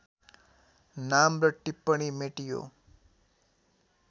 नाम र टिप्पणी मेटियो